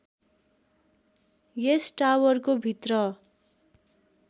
यस टावरको भित्र